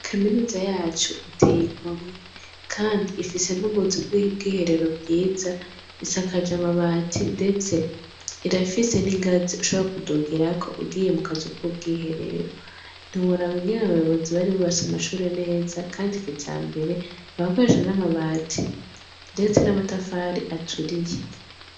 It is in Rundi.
Kaminuza yacu iteye igomwe kandi ifise n' ubuzu bw' ubwiherero bwiza , isakajwe amabati ndetse irafise n' ingazi ushobora kudugirako ugiye mu kazu kubw' iherero ntiworaba ingene abayobozi bari bubatse amashure neza kandi kijambere , barakoresha n' amabati ndetse n' amatafari aturiye.